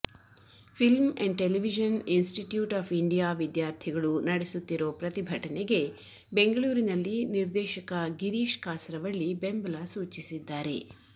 film and Television Institute of India ವಿದ್ಯಾರ್ಥಿಗಳು ನಡೆಸುತ್ತಿರೋ ಪ್ರತಿಭಟನೆಗೆ ಬೆಂಗಳೂರಿನಲ್ಲಿ ನಿರ್ದೇಶಕ ಗಿರೀಶ್ ಕಾಸರವಳ್ಳಿ ಬೆಂಬಲ ಸೂಚಿಸಿದ್ದಾರೆ